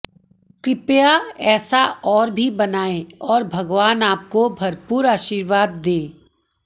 कृपया ऐसा और भी बनाये और भगवान आपको भरपूर आशीर्वाद दें